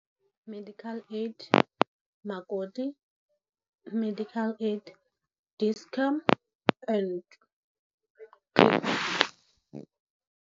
Medical aid makoti, medical aid Dischem and